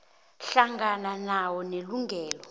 hlangana nawo nelungelo